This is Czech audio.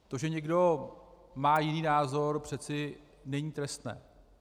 To, že někdo má jiný názor, přece není trestné.